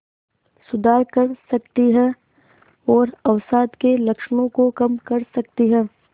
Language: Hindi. सुधार कर सकती है और अवसाद के लक्षणों को कम कर सकती है